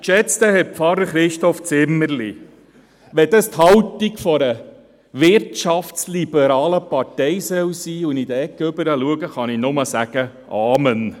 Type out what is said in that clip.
Geschätzter Herr Pfarrer Christoph Zimmerli, wenn dies die Haltung einer wirtschaftsliberalen Partei sein soll und ich in Ihre Ecke hinüberschaue, kann ich nur «Amen» sagen.